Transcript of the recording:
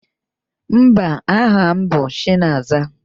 Mba, aha m bụ Chinaza.